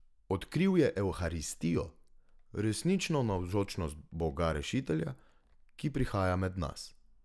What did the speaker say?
Odkril je evharistijo, resnično navzočnost Boga rešitelja, ki prihaja med nas.